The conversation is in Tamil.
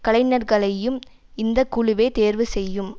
கலைஞர்களையும் இந்த குழுவே தேர்வு செய்யும்